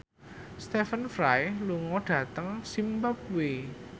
Stephen Fry lunga dhateng zimbabwe